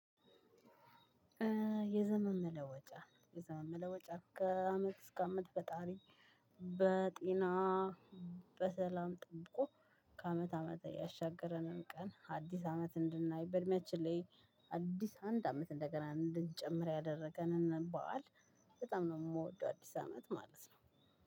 የዘመን መለወጫ የዘመን መለወጫ ከአመት እስከ አመት በጣም በጤና በሰላም ጠብቆ ከአመት አመት እያሻገረንም ቀን አዲስ አመት እንድናይ በእድሜያችን ላይ አዲስ አንድ አመት እንደገና እንድንጨምር ያደረገን በኋላ በጣም ነው የምወደው አዲስ አመት ማለት ነው።